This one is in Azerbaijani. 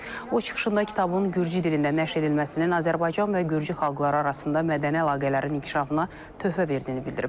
O çıxışında kitabın Gürcü dilində nəşr edilməsinin Azərbaycan və Gürcü xalqları arasında mədəni əlaqələrin inkişafına töhfə verdiyini bildirib.